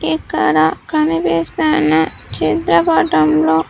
ఇక్కడ కనిపిస్తున్న చిత్రపటంలో.